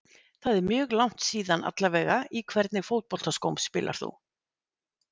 Það er mjög langt síðan allavega Í hvernig fótboltaskóm spilar þú?